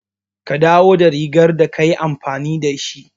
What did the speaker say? Ka dawo da rigar da ka yi amfani da shi.